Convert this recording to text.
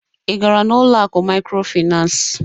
Ị gara n'ụlọ akụ mikrofinas?